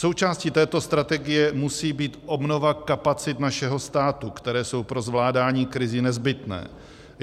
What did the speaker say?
Součástí této strategie musí být obnova kapacit našeho státu, které jsou pro zvládání krizí nezbytné.